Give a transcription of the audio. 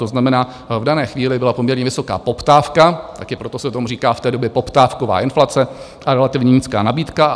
To znamená, v dané chvíli byla poměrně vysoká poptávka - taky proto se tomu říká v té době poptávková inflace - a relativně nízká nabídka.